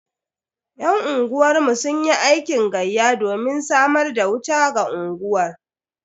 Yan unguwar mu sunyi aikin gayya domin samar da wuta ga unguwar.